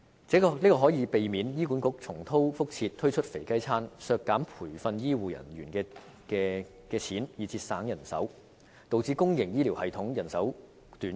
這做法更可避免醫管局重蹈覆轍，推出"肥雞餐"，削減培訓醫護人員來節省人手，導致公營醫療系統人手短缺。